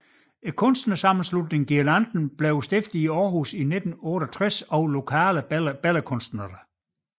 Kunstnersammenslutningen GUIRLANDEN blev stiftet i Aarhus 1968 af lokale billedkunstnere